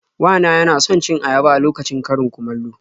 Wa na yana son cin ayaba a lokacin karin-kumallo.